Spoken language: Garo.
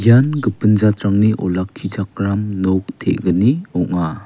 ian gipin jatrangni olakkichakram nok te·gni ong·a.